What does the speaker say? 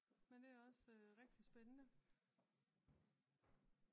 Men det er også rigtig spændende